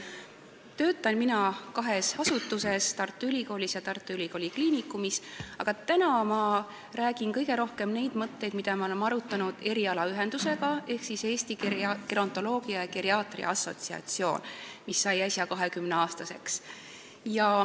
Ma töötan kahes asutuses, Tartu Ülikoolis ja Tartu Ülikooli Kliinikumis, aga täna räägin ma kõige rohkem nendest mõtetest, mida me oleme arutanud erialaühenduses ehk Eesti Gerontoloogia ja Geriaatria Assotsiatsioonis, mis sai äsja 20-aastaseks.